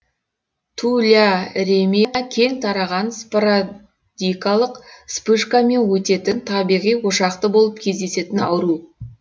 туляремия кең тараған спородикалық вспышкамен өтетін табиғи ошақты болып кездесетін ауру